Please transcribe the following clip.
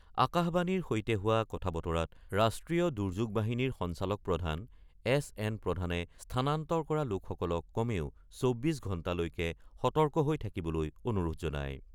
আকাশবাণীৰ সৈতে হোৱা কথা বতৰাত ৰাষ্ট্ৰীয় দুৰ্যোগ বাহিনীৰ সঞ্চালক প্ৰধান এছ এন প্ৰধানে স্থানান্তৰ কৰা লোকসকলক কমেও ২৪ ঘণ্টালৈকে সতৰ্ক হৈ থাকিবলৈ অনুৰোধ জনায়।